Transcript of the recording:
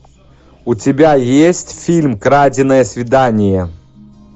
у тебя есть фильм краденое свидание